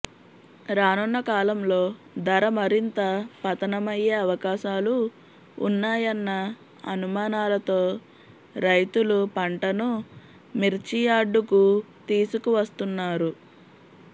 రానున్న కాలంలో ధర మరింత పతనమయ్యే అవకాశాలు ఉన్నాయన్న అనుమానాలతో రైతులు పంటను మిర్చియార్డుకు తీసుకు వస్తున్నారు